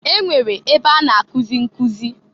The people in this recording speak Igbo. E nwere ebe a na-akụzị nkụzị.